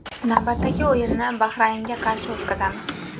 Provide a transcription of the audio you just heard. Navbatdagi o‘yinni Bahraynga qarshi o‘tkazamiz.